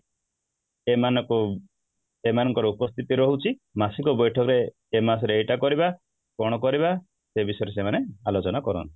ଏମାନଙ୍କୁ ଏମାନଙ୍କ ର ଉପସ୍ଥିତି ରହୁଛି ମାସ କୁ ବୈଠକ ରେ ଏ ମାସ ରେ ଏଇଟା କରିବା କ'ଣ କରିବା ସେ ବିଷୟରେ ସେମାନେ ଆଲୋଚନା କରନ୍ତି